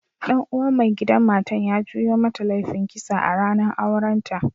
Dan uwan maigidan matan ya juyo mata laifin kisa a'ranan auren ta.